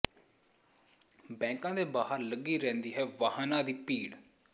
ਬੈਂਕਾਂ ਦੇ ਬਾਹਰ ਲੱਗੀ ਰਹਿੰਦੀ ਹੈ ਵਾਹਨਾਂ ਦੀ ਭੀੜ